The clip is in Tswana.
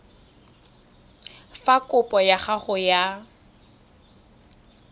fa kopo ya gago ya